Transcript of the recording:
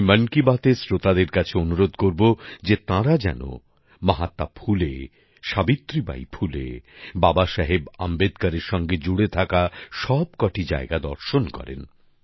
আমি মন কি বাতের শ্রোতাদের কাছে অনুরোধ করবো যে তাঁরা যেন মহাত্মা ফুলে সাবিত্রী বাই ফুলে বাবা সাহেব আম্বেদকরের সঙ্গে জুড়ে থাকা সবকটি জায়গা দর্শন করেন